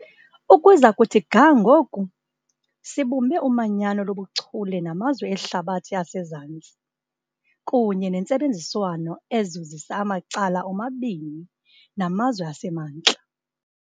Ukuza kuthi ga ngoku, sibumbe umanyano lobuchule namazwe eHlabathi aseZantsi kunye nentsebenziswano ezuzisa amacala omabini namazwe aseMantla.